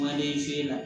Maden fe la